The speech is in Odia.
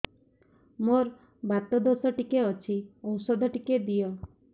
ମୋର୍ ବାତ ଦୋଷ ଟିକେ ଅଛି ଔଷଧ ଟିକେ ଦିଅ